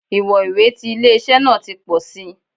Iwọn iwe ti ile-iṣẹ naa ti pọ si